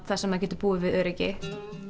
þar sem það getur búið við öryggi